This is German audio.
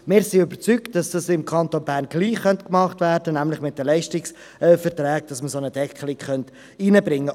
Wir sind überzeugt, im Kanton Bern könnte es auch so gemacht und eine Deckelung in den Leistungsverträgen verankert werden.